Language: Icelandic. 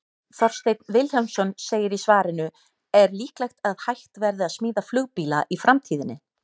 Þorsteinn Vilhjálmsson segir í svarinu Er líklegt að hægt verði að smíða flugbíla í framtíðinni?